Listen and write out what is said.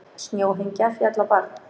Snjóhengja féll á barn